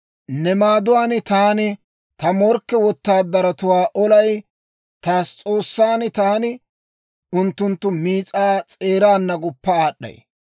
Ne maaduwaan taani ta morkke wotaadaratuwaa olay; ta S'oossan taani unttunttu miis'aa s'eeraana guppa aad'd'ay.